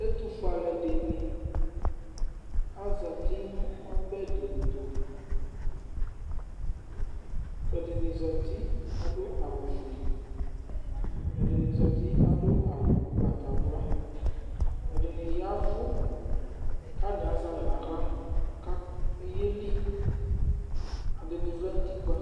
Ɛtʋfue alʋɛdɩnɩ azati nʋ ɔbɛ dɩ tʋ kʋ ɛdɩnɩ zati kʋ adʋ awʋfue, ɛdɩnɩ zati adʋ awʋ ʋgbatawla Ɛdɩnɩ ya ɛvʋ kʋ atanɩ azɛ alɛ nʋ aɣla kʋ ayeli, ɛdɩnɩ vlɛ nʋ utikpǝ